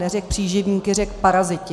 Neřekl příživníci, řekl paraziti.